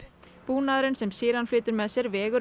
búnaðurinn sem Sheeran flytur með sér vegur